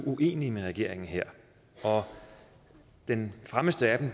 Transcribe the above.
uenige med regeringen her og den fremmeste af